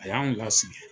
A y'an lasigi